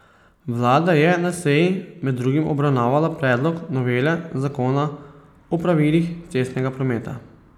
Vlada je na seji med drugim obravnavala predlog novele zakona o pravilih cestnega prometa.